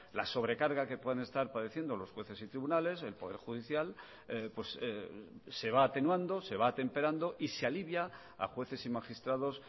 la sobrecarga que puedan estar padeciendo los jueces y tribunales el poder judicial se va atenuando se va atemperando y se alivia a jueces y magistrados